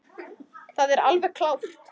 Það er alveg klárt.